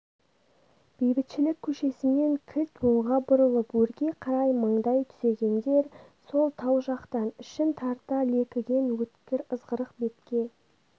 бейбітшілік көшесімен кілт оңға бұрылып өрге қарай маңдай түзегендер сол тау жақтан ішін тарта лекіген өткір ызғырық бетке